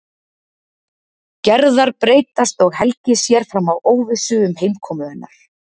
Gerðar breytast og Helgi sér fram á óvissu um heimkomu hennar.